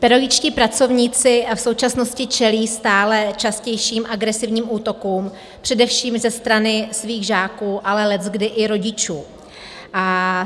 Pedagogičtí pracovníci v současnosti čelí stále častějším agresivním útokům především ze strany svých žáků, ale leckdy i rodičů.